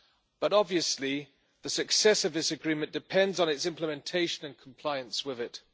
But, obviously, the success of this agreement depends on its implementation and compliance with it.